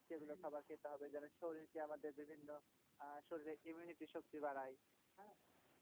সেগুলো খাবার খেতে হবে যেন শরীরকে আমাদের বিভিন্ন আহ শরীরের immunity শক্তি বাড়ায় হ্যাঁ।